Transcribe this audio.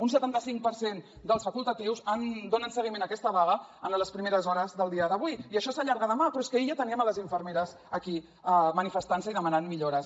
un setantacinc per cent dels facultatius donen seguiment a aquesta vaga en les primeres hores del dia d’avui i això s’allarga a demà però és que ahir ja teníem les infermeres aquí manifestantse i demanant millores